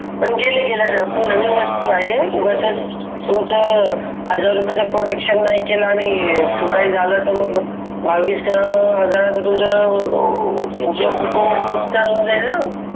गेले तर नवीन वस्तू आहे कुठे हजार रुपयांचा प्रोटेकशन नाही केला आणि काही झालं तर मग दहा वीस हजाराचं तुमचं नुकसान होऊन जाईल ना